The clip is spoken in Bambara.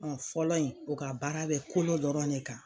Kun fɔlɔ in o ka baara be kolo dɔrɔn de kan.